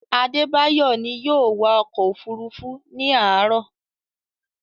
Adebayo ni yóò wa ọkọ̀-òfurufú ní àárọ̀.